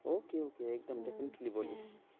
okay okay একদম definietly বলিস।